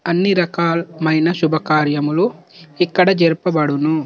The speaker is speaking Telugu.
అని రాకల మయిన సుభాకర్యమల్లు ఇక్కడ జరుపబడును.